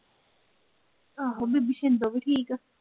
ਆਹੋ ਬੀਬੀ ਛਿੰਦੋ ਵੀ ਠੀਕ ਐ।